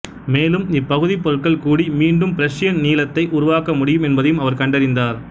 மேலும் இப்பகுதிப்பொருட்கள் கூடி மீண்டும் பிரஷ்யன் நீலத்தை உருவாக்க முடியும் என்பதையும் அவர் கண்டறிந்தார்